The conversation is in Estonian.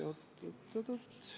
Oot-oot.